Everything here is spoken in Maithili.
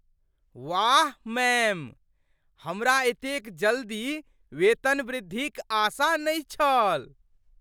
वाह, मैम! हमरा एतेक जल्दी वेतनवृद्धिक आशा नहि छल!